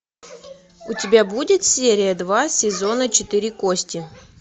у тебя будет серия два сезона четыре кости